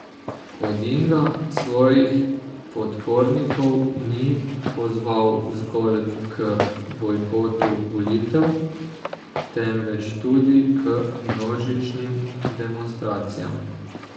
Odinga svojih podpornikov ni pozval zgolj k bojkotu volitev, temveč tudi k množičnim demonstracijam.